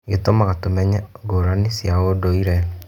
Gĩtũtũmaga tũmenye ngũrani cia ũndũire.